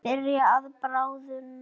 Byrjar að bráðna.